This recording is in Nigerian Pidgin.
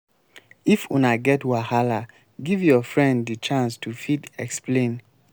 if una get wahala give your friend di chance to fit explain